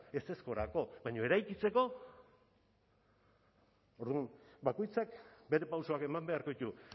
ezezkorako baina eraikitzeko orduan bakoitzak bere pausoak eman beharko ditu